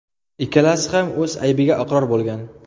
Ikkalasi ham o‘z aybiga iqror bo‘lgan.